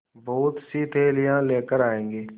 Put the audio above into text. बहुतसी थैलियाँ लेकर आएँगे